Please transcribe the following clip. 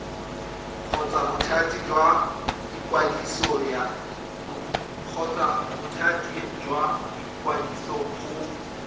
kgotsa bothati jwa ikwadiso go